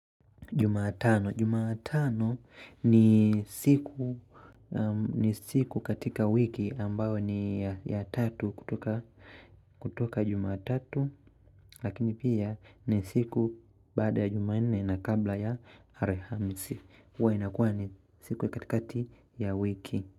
Jumatano ni siku katika wiki ambayo ni ya tatu kutoka jumatatu lakini pia ni siku baada ya jumanne na kabla ya alhamisi huwa inakuwa ni siku katikati ya wiki.